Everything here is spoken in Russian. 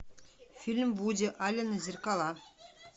фильм вуди аллена зеркала